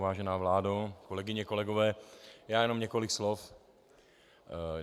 Vážená vládo, kolegyně, kolegové, já jenom několik slov.